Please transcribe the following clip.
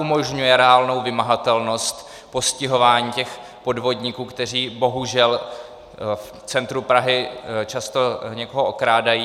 Umožňuje reálnou vymahatelnost postihování těch podvodníků, kteří bohužel v centru Prahy často někoho okrádají.